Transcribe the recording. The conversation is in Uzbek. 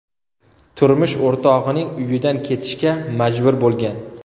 turmush o‘rtog‘ining uyidan ketishga majbur bo‘lgan.